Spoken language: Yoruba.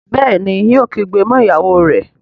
Béèni yóò kígbe mọ ìyàwó rẹ.